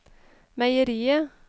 meieriet